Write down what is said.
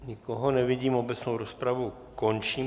Nikoho nevidím, obecnou rozpravu končím.